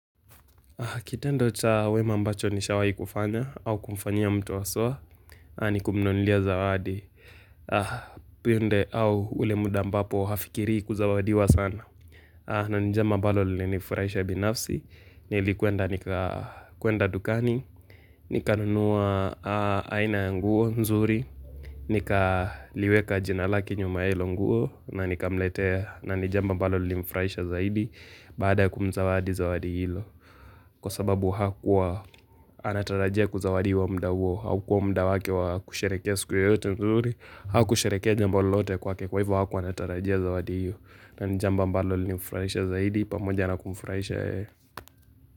Kitendo cha wema ambacho nishawai kufanya au kumfanyia mtu waswa ni kumnunilia zawadi pionde au ule muda ambapo hafikiri kuzawadiwa sana na njema ambalo linifuraisha binafsi, nilikuenda dukani Nikanunuwa aina ya nguo nzuri, nika liweka jinalake nyuma hilo nguo na nikamletea na jambo ambalo linifuraisha zaidi baada kumzawadi zawadi hilo Kwa sababu hakuwa anatarajia kuzawadiwa muda huo haukuwa muda wake wa kusherekea siku yeyote mzuri Ha kusherekea jambo lolote kwake kwa hivo hakuanatarajia zawadi huo na nijambo ambalo limfraisha zaidi, pamoja anakumfuraisha yeye.